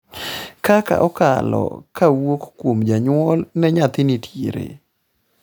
kaka okalo kawuok kuom janyuol ne nyathi nitiere